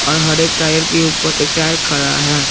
बाहर एक टायर के ऊपर एक टायर खड़ा है।